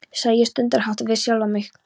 sagði ég stundarhátt við sjálfa mig.